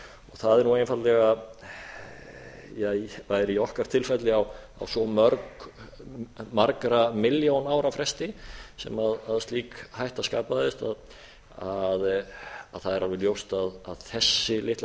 það er nú einfaldlega það er í okkar tilfelli á svo margra milljón ára fresti sem slík hætta skapaðist að það er alveg ljóst að þessi litla